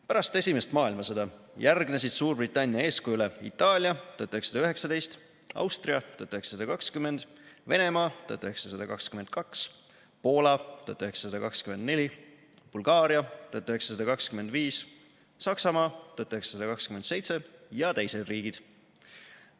Pärast Esimest maailmasõda järgnesid Suurbritannia eeskujule Itaalia , Austria , Venemaa , Poola , Bulgaaria , Saksamaa ja teised riigid.